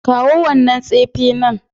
Kawo wannan tsefe nan